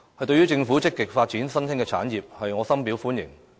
對於政府積極發展新興產業，我深表歡迎。